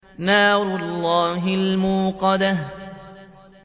نَارُ اللَّهِ الْمُوقَدَةُ